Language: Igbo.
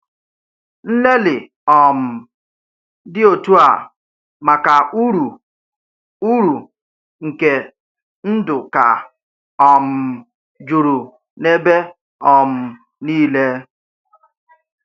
Ǹlélị́ um dị́ otú à maka ùrú ùrú nke ndụ̀ ka um jùrù n’ebe um nile.